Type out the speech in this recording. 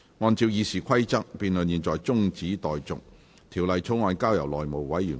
按照《議事規則》，辯論現在中止待續，條例草案交由內務委員會處理。